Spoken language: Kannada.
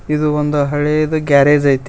ಇದು ಒಂದು ಹಳೇದು ಗ್ಯಾರೇಜ್ ಐತಿ.